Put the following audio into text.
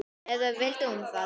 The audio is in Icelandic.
Eða vildi hún það ekki?